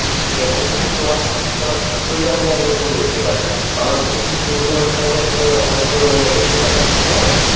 যেটার ক্ষেত্রে তোমার পরিবার নিয়ে আমরা ছবি দেখতে পারিনা. বাংলাদেশের যে ছবিগুলা দেখা যায় একটা আমরা পরিবার নিয়ে দেখতে পারিনা তাইনা.